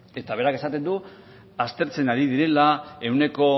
eta berak esaten du aztertzen ari direla ehuneko